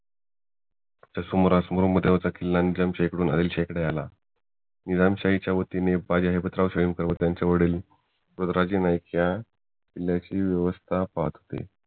च्या सुमारास ब्रम्हदेवाचा किल्ला आणि आदिलशहा इकडे आला निजामशाहीच्या वतीने व त्यांचे वडील गुजराजी नाईक या किल्ल्याची व्यवस्था पाहत होते